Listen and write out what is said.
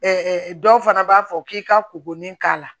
dɔw fana b'a fɔ k'i ka kurunin k'a la